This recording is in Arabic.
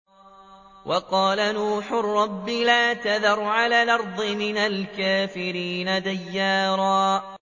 وَقَالَ نُوحٌ رَّبِّ لَا تَذَرْ عَلَى الْأَرْضِ مِنَ الْكَافِرِينَ دَيَّارًا